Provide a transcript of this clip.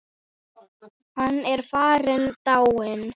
Hann er farinn, dáinn.